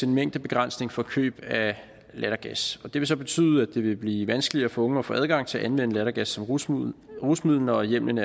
en mængdebegrænsning for køb af lattergas og det vil så betyde at det vil blive vanskeligere for unge at få adgang til at anvende lattergas som rusmiddel rusmiddel når hjemlen